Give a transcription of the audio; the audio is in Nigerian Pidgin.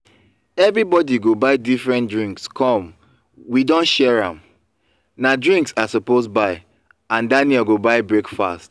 everybody go buy different things come we don share am. na drinks i suppose buy and daniel go buy breakfast